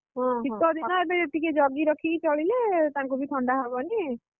ଶୀତ ଦିନ ଏବେ ଟିକେ ଜଗି ରଖିକି ଚଳିଲେ ତାଙ୍କୁ ବି ଥଣ୍ଡା ହବନି ଆଉ ସେ ବି